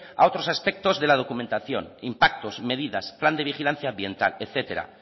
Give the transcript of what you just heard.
a otros aspectos de la documentación impactos medidas plan de vigilancia ambiental etcétera